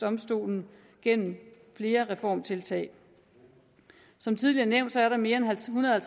domstolen gennem flere reformtiltag som tidligere nævnt er der mere end ethundrede